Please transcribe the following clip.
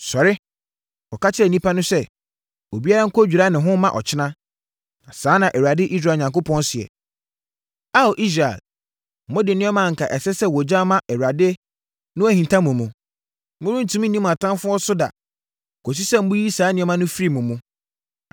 “Sɔre! Kɔka kyerɛ nnipa no sɛ, ‘Obiara nkɔdwira ne ho mma ɔkyena, na saa na Awurade, Israel Onyankopɔn seɛ: Ao, Israel, mode nneɛma a anka ɛsɛ sɛ wɔgya ma Awurade no ahinta mo mu. Morentumi nni mo atamfoɔ so da kɔsi sɛ moyi saa nneɛma no firi mo mu.